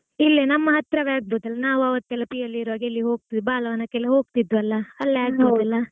ಇಲ್ಲೇ ನಮ್ ಹತ್ರವೇ ಆಗಬೋದಲ್ಲಾ ನಾವು ಅವತ್ತೆಲ್ಲಾ PU ಲಿರುವಾಗ ಹೋಗ್ತಿದ್ವಲ್ಲಾ ಬಾಲವನಕ್ಕೆಲ್ಲ ಹೋಗ್ತಿದ್ವಲ್ಲಾ ಅಲ್ಲೇ ಆಗಬೋದಲ್ಲಾ?